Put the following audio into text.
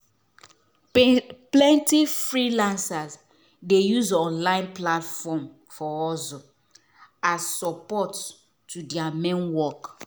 plenty freelancers dey use online platform for hustle as support to thier main work.